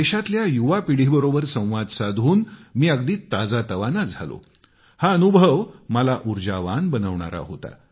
देशातल्या युवापिढीबरोबर संवाद साधून मी अगदी ताजातवाना झालो हा अनुभव मला ऊर्जावान बनवणारा होता